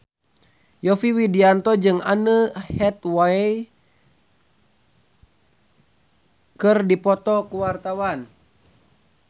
Yovie Widianto jeung Anne Hathaway keur dipoto ku wartawan